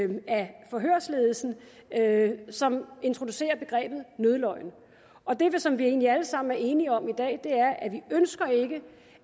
forhørsledelsen som introducerer begrebet nødløgn og det som vi egentlig alle sammen er enige om i dag